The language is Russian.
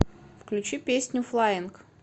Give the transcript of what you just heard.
включи песню флаинг